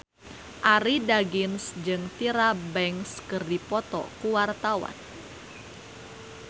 Arie Daginks jeung Tyra Banks keur dipoto ku wartawan